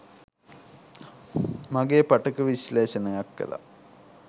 මගේ පටක විශ්ලේෂණයක් කළා